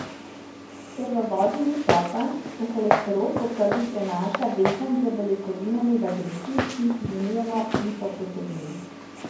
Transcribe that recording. Ker v vodi ni topen, se holesterol po krvi prenaša vezan z beljakovinami v delcih, ki jih imenujemo lipoproteini.